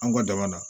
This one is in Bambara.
An ka dama na